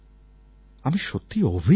আমি সত্যিই অভিভূত